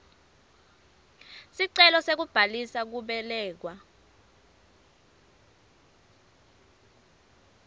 sicelo sekubhalisa kubelekwa